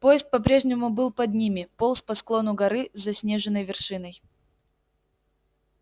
поезд по-прежнему был под ними полз по склону горы с заснеженной вершиной